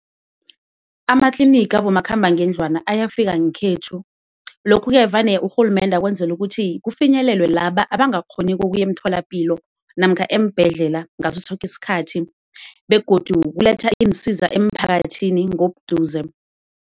Amatliniga abomakhambangendlwana ayafika ngekhethu lokhu-ke vane urhulumende akwenzela ukuthi kufinyelelwe laba abangakghoniko ukuya emtholapilo namkha eembhedlela ngaso soke isikhathi, begodu kuletha iinsiza emphakathini ngokuduze.